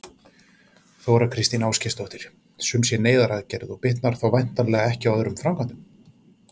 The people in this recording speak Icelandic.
Þóra Kristín Ásgeirsdóttir: Sum sé neyðaraðgerð og bitnar þá væntanlega ekki á öðrum framkvæmdum?